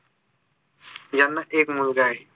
यांना एक मुलगा आहे